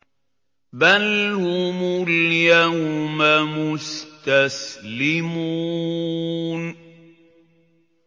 بَلْ هُمُ الْيَوْمَ مُسْتَسْلِمُونَ